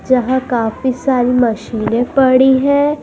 यहां काफी सारी मशीनें पड़ी हैं।